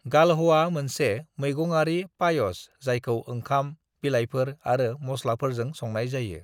"गालह'आ मोनसे मैगङारि पायस जायखौ ओंखाम, बिलाइफोर आरो मसलाफोरजों संनाय जायो।"